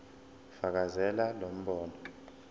fakazela lo mbono